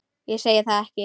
Ég segi það ekki.